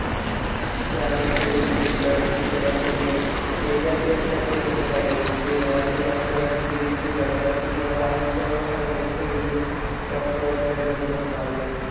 त्यामुळे सगळे जिकडे इकडं-तिकडं म्हणजे जे, area जो जास्त famous चं आहे रे. ते व्हायचं doctor व्हायचं असलं की तिथं जायचं. आणि तिकडं हायत जवळ हाय म्हटल्यावर तर doctor व्हायच्या ह्यांचातच असणार रे ते